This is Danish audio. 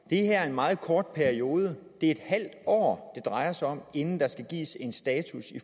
det her er en meget kort periode det er et halvt år det drejer sig om inden der skal gives en status